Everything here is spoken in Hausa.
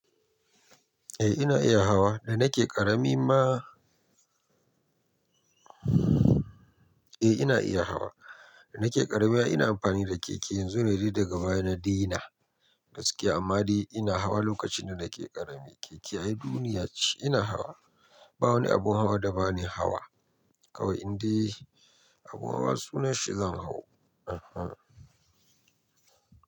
Eh ina iya hawa, da nake ƙarami ma eh ina iya hawa, da nake ƙarami ina amfani da keke yanzu na yi riɗi daga baya na dina gaskiya amma dai ina hawa lokacin da nake ƙarami. Keke ayi duniya ce ina hawa. Ba wani abun hawa da ba ni hawa kawai in dai abun hawa sunan shi zan hau. Ehn ehn.